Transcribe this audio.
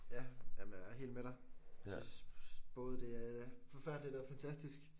Ja jamen jeg er helt med dig. Synes både det er forfærdeligt og fantastisk